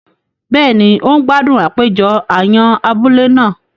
Béèni, o n gbádùn àpéjọ àyàn abúlé náà